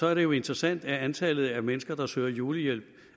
er det jo interessant at antallet af mennesker der søger julehjælp